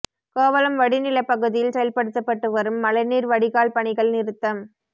கோவளம் வடி நிலப்பகுதியில் செயல்படுத்தப்பட்டு வரும் மழைநீர் வடிகால் பணிகள் நிறுத்தம்